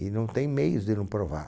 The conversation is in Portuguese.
E não tem meios de não provar.